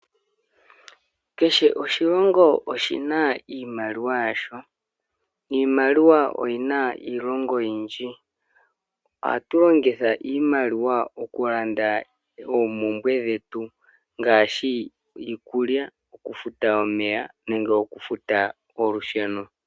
Keshe oshilongo oshina iimaliwa yasho. Iimaliwa oyi na iilonga oyindji. Ohatu longitha iimaliwa oku landa oompumbwe dhetu, ngaashi iikulya, oku futa omeya nenge oku futa olusheno.